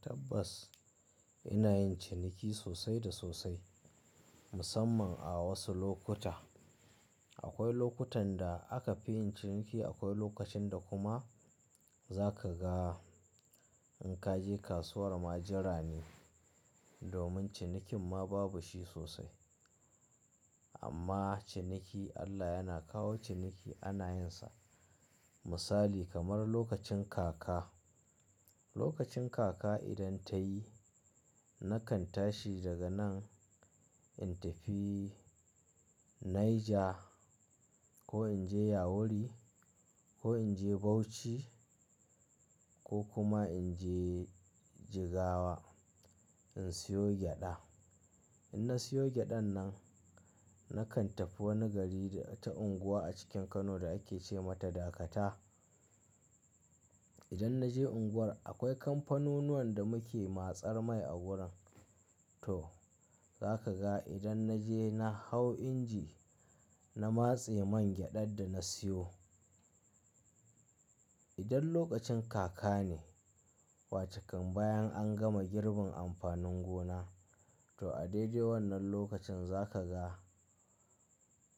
Tabbas ina yin ciniki sosai da sosai musamman a wasu lokuta. Akwai lokutan da aka fi yin ciniki, akwai lokacin da kuma zaka ga in ka je kasuwar ma jira ne domin cinikin ma babu shi sosai. Amma ciniki Allah yana kawo ciniki ana yinsa. Misali kamar lokacin kaka. Lokacin kaka idan ta yi nakan tashi daga nan in tafi Niger ko in je Yawuri ko in je Bauchi ko kuma in je Jigawa in siyo gyaɗa. In na siyo gyaɗan nan, nakan tafi wani gari da wata unguwa a cikin Kano da ake ce mata Dakata. Idan na je unguwar akwai kamfanunnuwan da muke matsar mai a wurin. To zaka ga idan na je na hau inji na matse man gyaɗar da na siyo. Idan lokacin kaka ne wace kam bayan an gama girbin amfanin gona to a daidai wannan lokacin zaka ga